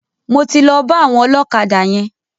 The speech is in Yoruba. Mo ti lọ bá àwọn ọlọ́kadà yẹn.